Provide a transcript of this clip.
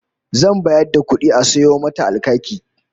Zan bayar da kudi a sayo mata alkaki